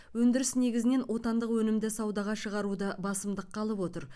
өндіріс негізінен отандық өнімді саудаға шығаруды басымдыққа алып отыр